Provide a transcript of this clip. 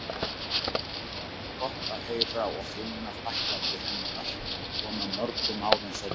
Það var gott að heyra og finna þakklæti hennar svona mörgum árum seinna.